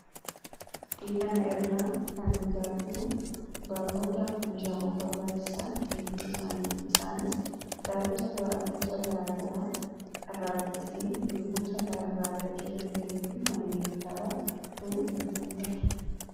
Fakkii kana irraa kan nuti arginu, barnootaa fi meeshaawwan barbaachisan hedduu isaaniiti. Isaanis kitaaba gosa garaagaraa irraa dubbifnee, beekumsa gahaa irraa argachuu dandeenyuu fi manneen kitaabaatu nutti mul'ata.